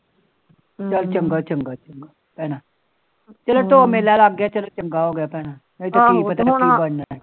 ਚੱਲ ਚੰਗਾ ਚੰਗਾ ਭੈਣਾ ਨਹੀ ਤੇ ਕੀ ਪਤਾ ਕੀ ਬਣਾ